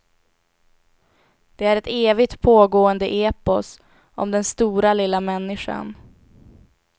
Det är ett evigt pågående epos om den stora lilla människan.